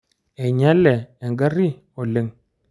Einyale engari oleng.